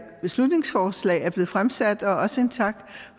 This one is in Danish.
beslutningsforslag er blevet fremsat og også en tak